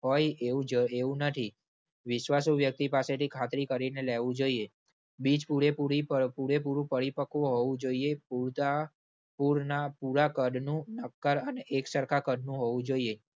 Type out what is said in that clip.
હોય એવું જ એવું નથી. વિશ્વાસુ વ્યક્તિ પાસેથી ખાતરી કરીને લેવું જોઈએ. બીજ પૂરેપૂરી પપૂરેપૂરું પરિપક્વ હોવું જોઈએ. પૂરતા પૂરના પૂરા કદનું નક્કર અને એકસરખા કદનું હોવું જોઈએ.